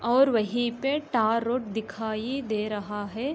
और वहीं पे टरोट दिखाई दे रहा है।